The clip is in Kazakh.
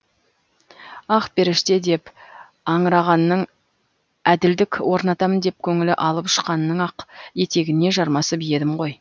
ақперіште деп аңырағанның әділдік орнатамын деп көңілі алып ұшқанның ақ етегіне жармасып едім ғой